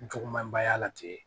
Jugumanba y'a la ten